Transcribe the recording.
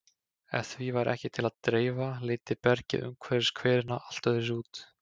Ef því væri ekki til að dreifa liti bergið umhverfis hverina allt öðruvísi út.